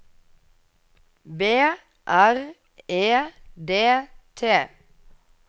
B R E D T